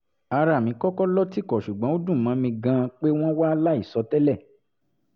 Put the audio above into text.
ara mi kọ́kọ́ lọ́ tìkọ̀ ṣùgbọ́n ó dùn mọ́ mi gan-an pé wọ́n wá láìsọ tẹ́lẹ̀